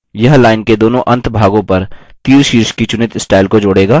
यह line के दोनों अंत भागों पर thisशीर्ष की चुनित स्टाइल को जोड़ेगा